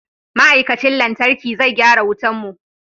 Ma'aikacin lantarki zai gyara wutan mu.